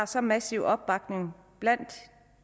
så massiv opbakning blandt